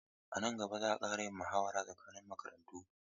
A nan gaba za a ƙara yin muhawara tsakanin makarantu.